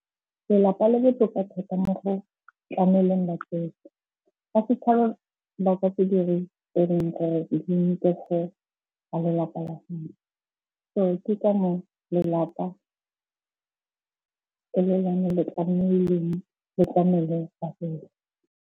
Lelapa le botoka thata mo go tlameleng batsofe. lelapa la . So ke ka moo lelapa e le lone le tlamehileng le tlamele batsofe.